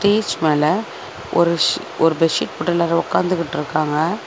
டேஜ் மேல ஒரு ஷ் ஒரு பெஷீட் போட்டு எல்லாரு ஒக்காந்துகிட்டுருக்காங்க.